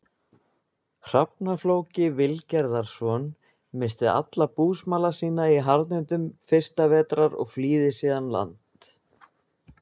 Hrafna-Flóki Vilgerðarson, missti allan búsmala sinn í harðindum fyrsta vetrar og flýði síðan land.